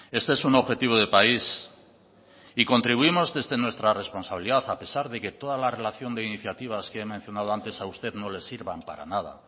este es un objetivo de país y contribuimos desde nuestra responsabilidad a pesar de que toda la relación de iniciativas que he mencionado antes a usted no le sirvan para nada